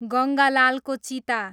गङ्गालालको चिता